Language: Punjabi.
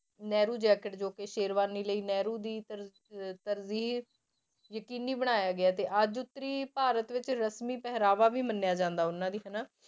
ਨਹਿਰੂ ਜੈਕਟ ਜੋ ਕਿ ਸ਼ੇਰਵਾਨੀ ਲਈ ਨਹਿਰੂ ਦੀ ਤਰ~ ਅਹ ਤਰਜੀਹ ਯਕੀਨੀ ਬਣਾਇਆ ਗਿਆ ਤੇ ਅੱਜ ਉੱਤਰੀ ਭਾਰਤ ਵਿੱਚ ਰਸ਼ਮੀ ਪਹਿਰਾਵਾ ਵੀ ਮੰਨਿਆ ਜਾਂਦਾ ਉਹਨਾਂ ਦੀ ਹਨਾ